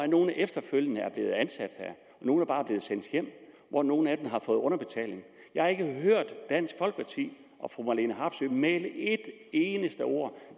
nogle er efterfølgende blevet ansat her nogle er bare blevet sendt hjem og nogle af dem har fået underbetaling jeg har ikke hørt dansk folkeparti og fru marlene harpsøe mæle ét eneste ord